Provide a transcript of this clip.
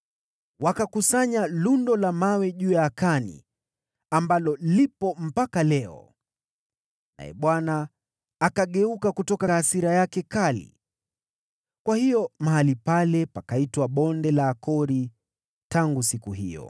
Wakakusanya lundo la mawe juu ya Akani, ambalo lipo mpaka leo. Naye Bwana akageuka kutoka hasira yake kali. Kwa hiyo mahali pale pakaitwa Bonde la Akori tangu siku hiyo.